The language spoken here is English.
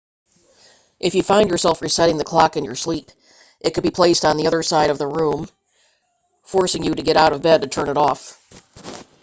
if you find yourself resetting the clock in your sleep it can be placed on the other side of the room forcing you to get out of bed to turn it off